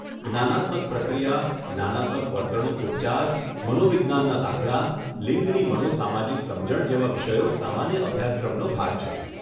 જ્ઞાનાત્મક પ્રક્રિયા, જ્ઞાનાત્મક વર્તણૂક ઉપચાર, મનોવિજ્ઞાનના દાખલા, લિંગની મનો સામાજિક સમજણ જેવા વિષયો સામાન્ય અભ્યાસક્રમનો ભાગ છે.